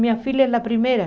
Minha filha é a primeira.